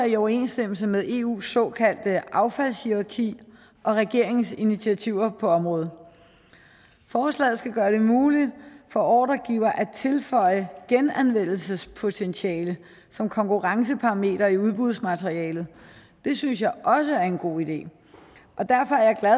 i overensstemmelse med eus såkaldte affaldshierarki og regeringens initiativer på området forslaget skal gøre det muligt for ordregiver at tilføje genanvendelsespotentiale som konkurrenceparameter i udbudsmaterialet det synes jeg også er en god idé og derfor er jeg